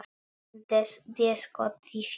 Déskoti fínt.